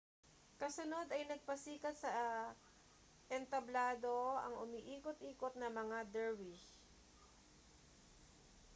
kasunod ay nagpasikat sa entablado ang umiikot-ikot na mga dervish